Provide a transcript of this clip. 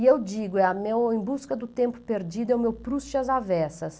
E eu digo, é a meu em busca do tempo perdido, é o meu Proust e as Aversas.